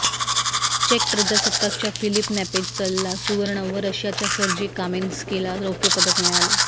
check प्रजासत्ताकच्या Philip नेपेजचलला सुवर्ण व रशियाच्या सर्जी कामेनस्कीला रौप्यपदक मिळाले